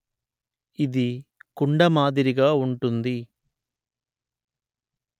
ఇది కుండ మాదిరిగా ఉంటుంది